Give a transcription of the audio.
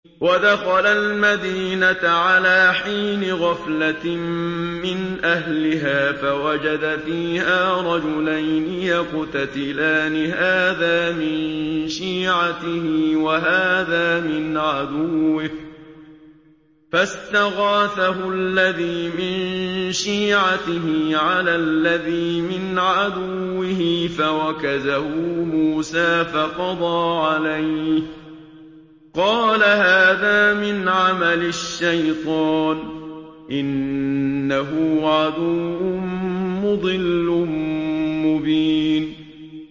وَدَخَلَ الْمَدِينَةَ عَلَىٰ حِينِ غَفْلَةٍ مِّنْ أَهْلِهَا فَوَجَدَ فِيهَا رَجُلَيْنِ يَقْتَتِلَانِ هَٰذَا مِن شِيعَتِهِ وَهَٰذَا مِنْ عَدُوِّهِ ۖ فَاسْتَغَاثَهُ الَّذِي مِن شِيعَتِهِ عَلَى الَّذِي مِنْ عَدُوِّهِ فَوَكَزَهُ مُوسَىٰ فَقَضَىٰ عَلَيْهِ ۖ قَالَ هَٰذَا مِنْ عَمَلِ الشَّيْطَانِ ۖ إِنَّهُ عَدُوٌّ مُّضِلٌّ مُّبِينٌ